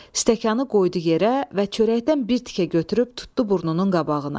Stəkanı qoydu yerə və çörəkdən bir tikə götürüb tutdu burnunun qabağına.